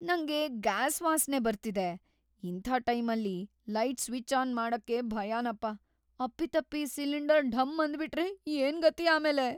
ನಂಗೆ ಗ್ಯಾಸ್‌ ವಾಸ್ನೆ ಬರ್ತಿದೆ, ಇಂಥ ಟೈಮಲ್ಲಿ ಲೈಟ್‌ ಸ್ವಿಚ್‌ ಆನ್‌ ಮಾಡಕ್ಕೇ ಭಯನಪ್ಪ! ಅಪ್ಪಿತಪ್ಪಿ ಸಿಲಿಂಡರ್‌ ಢಮ್‌ ಅಂದ್ಬಿಟ್ರೆ ಏನ್‌ ಗತಿ ಆಮೇಲೆ!